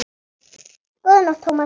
Góða nótt, Thomas